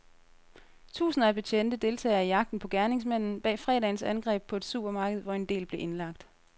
Tusinder af betjente deltager i jagten på gerningsmanden bag fredagens angreb på et supermarked, hvor en del blev indlagt.